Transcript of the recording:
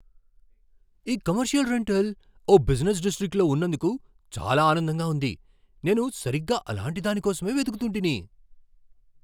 ఈ commercial rental ఓ business డిస్ట్రిక్ట్లో ఉన్నందుకు చాలా ఆనందంగా ఉంది. నేను సరిగ్గా అలాంటి దాని కోసమే వెతుకుతుంటిని.